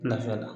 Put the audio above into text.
Nafaa la